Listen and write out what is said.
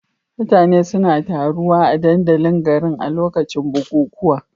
Mutane suna taruwa a dandalin garin a lokacin bukukuwa.